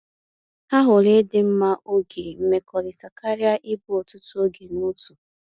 Ha hụrụ ịdị mma oge mmekọrịta karịa ịbụ ọtụtụ oge n’otu.